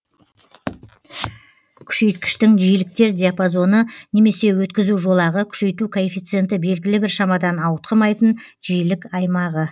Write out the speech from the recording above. күшейткіштің жиіліктер диапазоны немесе өткізу жолағы күшейту коэффициенті белгілі бір шамадан ауытқымайтын жиілік аймағы